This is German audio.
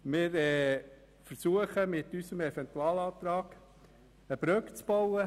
Wir versuchen, mit unserem Eventualantrag eine Brücke zu bauen.